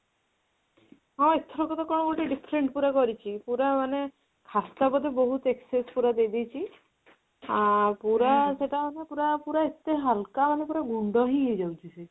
ହଁ ଏଥରକ ତ କଣ ଗୋଟେ different ପୁରା କରିଛି ପୁରା ମାନେ ଖାସ୍ତା ବୋଧେ ବହୁତ excess ପୁରା ଦେଇଦେଇଚି ଆଁ ପୁରା ପୁରା ପୁରା ଏତେ ହାଲକା ପୁରା ମାନେ ପୁରା ଗୁଣ୍ଡ ହିଁ ହେଇଯାଉଚି ସେ